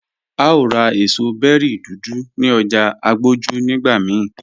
À o rá èṣọ̀ bẹ̀ri dúdú ní ọ̀jà Agboju nigbà míì